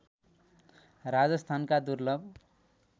राजस्थानका दुर्लभ